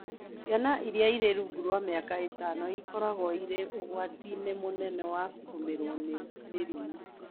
Ciana iria irĩ rungu rwa mĩaka ĩtano ikoragwo irĩ ũgwati-inĩ mũnene wa kũgũmĩrũo nĩ mĩrimũ